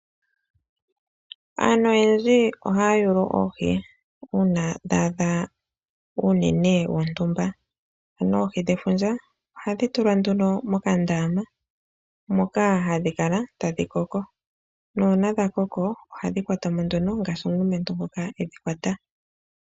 Aantu oyendji ohaya yulu oohi, uuna dha adha uunene wontumba .Oku na oohi dhefundja ndhono hadhi tulwa mokandama etadhi kalamo tadhi tekulwa sigo dha koko, uuna dha koka ohadhi kwatwamo.